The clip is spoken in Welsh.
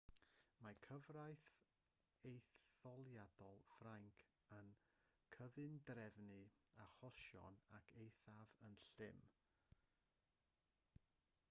mae cyfraith etholiadol ffrainc yn cyfundrefnu achosion yn eithaf llym